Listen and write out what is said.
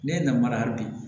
Ne ye namara ye hali bi